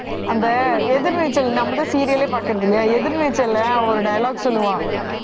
அந்த எதிர்நீச்சல் நம்மதான் serial ஏ பாக்கறது இல்லையா எதிர்நீச்சல்ல ஒரு dialogue சொல்லுவான்